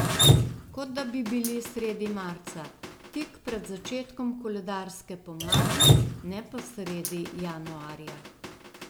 Kot da bi bili sredi marca, tik pred začetkom koledarske pomladi, ne pa sredi januarja.